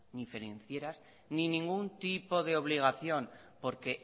ni financieras ni ningún tipo de obligación porque